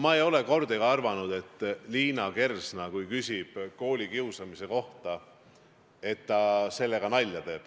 Ma ei ole kordagi arvanud, et kui Liina Kersna küsib koolikiusamine kohta, siis ta teeb sellega nalja.